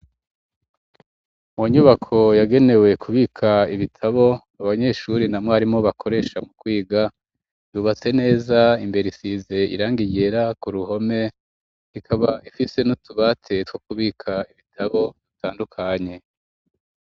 Munyubako yagenewe kubikamwo ibitabo abanyeshure namwarimu, kwiga yubatse neza ikaba isize irangi ryera k'uruhome, twokubika ibitabo bitandukanye.